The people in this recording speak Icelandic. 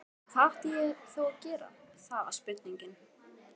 En hvað átti ég þá að gera, það var spurningin.